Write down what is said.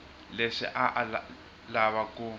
leswi a a lava ku